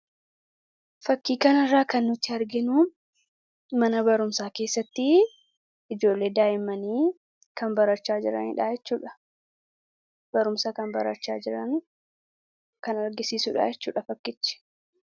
Fakkii kana irraa kan nuti arginu, mana barumsaa keessatti ijoollee daa'immanii kan barachaa jiran jechuudha. Barumsa kan barachaa jiran kan agarsiisudha jechuudha fakkichi.